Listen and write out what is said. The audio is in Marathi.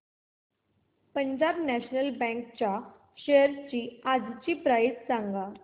पंजाब नॅशनल बँक च्या शेअर्स आजची प्राइस सांगा